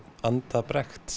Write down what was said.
anda